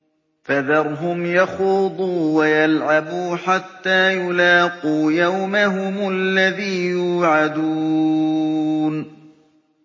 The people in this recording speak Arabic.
فَذَرْهُمْ يَخُوضُوا وَيَلْعَبُوا حَتَّىٰ يُلَاقُوا يَوْمَهُمُ الَّذِي يُوعَدُونَ